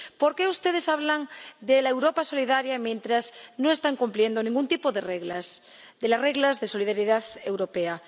¿Por qué ustedes hablan de la Europa solidaria mientras no están cumpliendo ningún tipo de reglas, de las reglas de solidaridad europea?